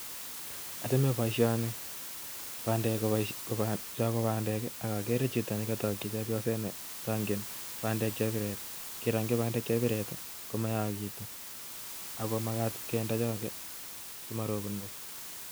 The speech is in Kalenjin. Achome boishoni, chon ko bandek ak agere chito nekotokyii chepyoset nii bandek, kirongyii bandek chebiret komaam kit, ako magat kinde chon alak